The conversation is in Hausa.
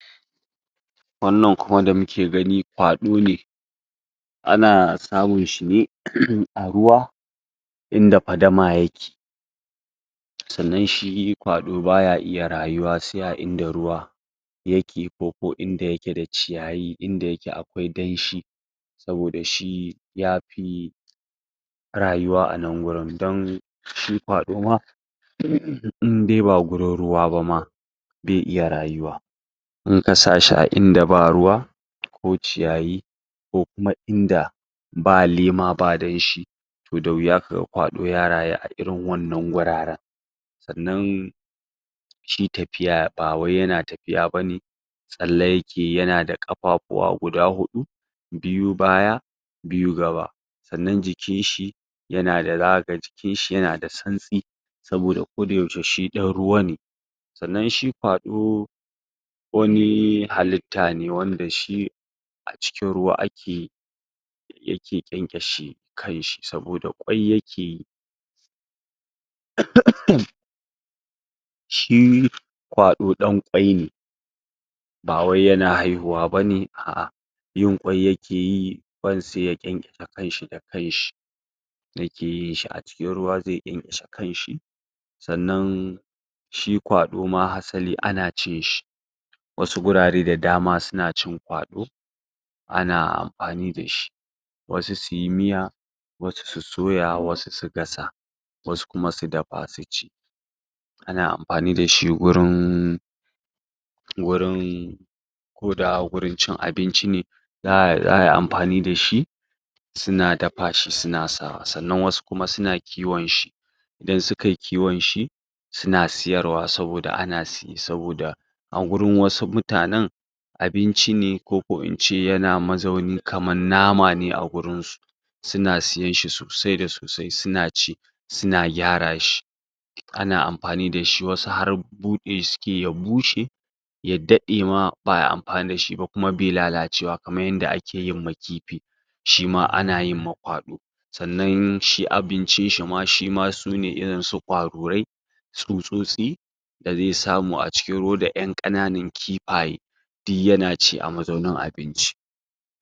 Wannan kuma da muke gani, kwaɗo ne. Ana samun shi ne a ruwa, inda fadama yake. Sannan shi kwaɗo baya iya rayuwa, sai a inda ruwa yake, koko inda yake da ciyayi, inda akwai danshi, saboda shi ya fi rayuwa a nan wurin, don shi kwaɗo ma, in dai ba gurin ruwa ba ma, be iya rayuwa. In ka sa shi a inda ba ruwa, ko ciyayi, ko kuma inda ba lema, ba danshi, to da wuya kaga kwaɗo ya rayuwa a irin wannan guraren Sannan, shi tafiya ba wai yana tafiya bane, tsalle yakeyi, yana da ƙafafuwa guda huɗu, biyu baya, biyu gaba. Sannan jikin shi, zaka ga jikin shi yana da santsi saboda ko da yaushe shi ɗan ruwa ne. Sannan, shi kwaɗo wani halitta ne, wanda shi a cikin ruwa a ke yake ƙyanƙyashe kan shi, saboda ƙwai yake yi, shi kwaɗo ɗan ƙwai ne, ba wai yana haihuwa bane, a'a yin ƙwai yake yi, ƙwan sai ya ƙyanƙyashe kan shi da kan shi, yake yin shi a cikin ruwa, zai ƙyanƙyashe kan shi. Sannan, shi kwaɗo ma hasali ana cin shi, wasu gurare da dama suna cin kwaɗo, ana amfani dashi, wasu suyi miya, wasu su soya, wasu su gasa, wasu kuma su dafa su ci. Ana amfani dashi gurin wurin, ko da gurin cin abinci ne, za ayi amfani da shi, suna dafa shi, suna sa wa. Sannan kuma, wasu suna kiwon shi, idan sukai kiwon shi, suna siyarwa, saboda ana siye, saboda a gurin wasu mutane abinci ne, koko in ce yana mazaunin kaman nama ne a wurin su, suna siyen shi sosai da sosai, suna ci, suna gyara shi. Ana amfani dashi, wasu har buɗe shi sukeyi ya bushe, ya daɗe ma ba ayi amfani dashi ba, kuma be lalacewa, kaman yanda ake yinma kifi, shi ma ana yin ma kwaɗo. Sannan, shi abincin ma shima su ne irin su ƙwarurai, tsutsotsi da zai samu a cikin ruwa, da ƴan ƙananan kifaye, du yana ci a mazaunin abinci.